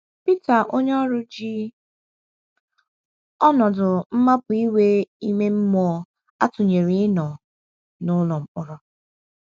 Pita onyeoru ji ọnọdụ mmapụ iwu ime mmụọ a tụnyere ịnọ “ n’ụlọ mkpọrọ. ”